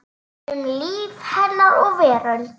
Um líf hennar og veröld.